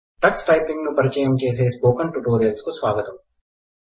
Tux typing నిపరిచయం చేసే spoken tutorial కు స్వాగతం